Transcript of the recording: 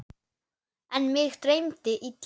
En mig dreymdi illa.